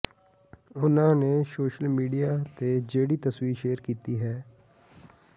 ਉਨ੍ਹਾਂ ਨੇ social media ਤੇ ਜਿਹੜੀ ਤਸਵੀਰ ਸ਼ੇਅਰ ਕੀਤੀ ਹੈ